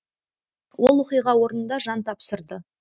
ол оқиға орнында жан тапсырды